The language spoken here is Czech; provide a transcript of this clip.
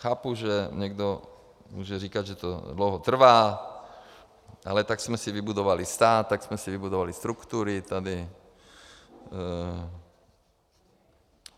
Chápu, že někdo může říkat, že to dlouho trvá, ale tak jsme si vybudovali stát, tak jsme si vybudovali struktury tady.